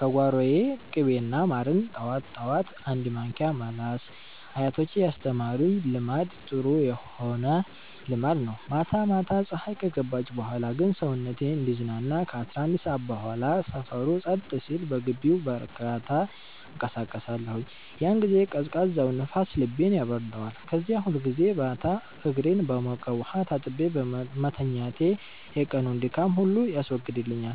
ከጓሮዬ። ቅቤና ማርን ጠዋት ጠዋት አንድ ማንኪያ መላስ አያቶቼ ያስተማሩኝ ልማድ ጥሩ ሆነ ልማድ ነው። ማታ ማታ ፀሀይ ከገባች በኋላ ግን ሰውነቴ እንዲዝናና ከ11 ሰዓት በኋላ ሰፈሩ ጸጥ ሲል በግቢው በእርጋታ እንቀሳቀሳለሁኝ። ያን ጊዜ ቀዝቃዛው ንፋስ ልቤን ያበርደዋል። ከዚያ ሁልጊዜ ማታ እግሬን በሞቀ ውሃ ታጥቤ መተኛቴ የቀኑን ድካም ሁሉ ያስወግድልኛል።